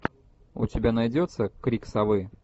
у тебя найдется крик совы